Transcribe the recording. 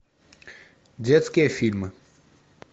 детские фильмы